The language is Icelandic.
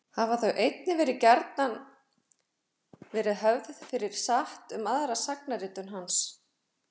hafa þau einnig gjarnan verið höfð fyrir satt um aðra sagnaritun hans